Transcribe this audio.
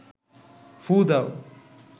ফুঁ দাও